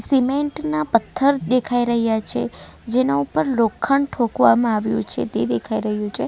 Cement ના પથ્થર દેખાઈ રહ્યા છે જેના ઉપર લોખંડ ઠોકવામાં આવ્યું છે તે દેખાઈ રહ્યું છે.